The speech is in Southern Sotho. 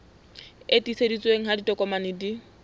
e tiiseditsweng ha ditokomane di